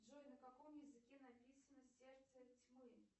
джой на каком языке написано сердце тьмы